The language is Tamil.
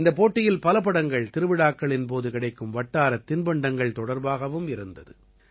இந்தப் போட்டியில் பல படங்கள் திருவிழாக்களின் போது கிடைக்கும் வட்டாரத் தின்பண்டங்கள் தொடர்பாகவும் இருந்தது